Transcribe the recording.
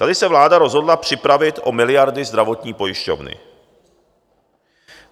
Tady se vláda rozhodla připravit o miliardy zdravotní pojišťovny.